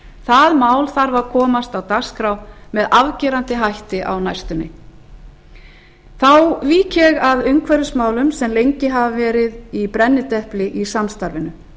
það mál þarf að komast á dagskrá með afgerandi hætti á næstunni þá vík ég að umhverfismálum sem lengi hafa verið í brennidepli í samstarfinu